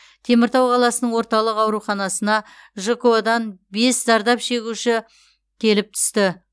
теміртау қаласының орталық ауруханасына жко дан бес зардап шегуші келіп түсті